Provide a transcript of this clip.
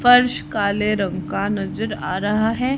फर्स काले रंग का नजर आ रहा है।